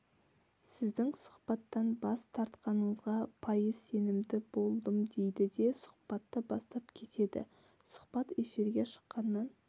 сіздің сұхбаттан бас тартатыныңызға пайыз сенімді болдым дейді де сұхбатты бастап кетеді сұхбат эфирге шыққаннан